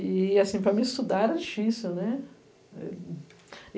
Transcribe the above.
E assim, para mim estudar era difícil, né?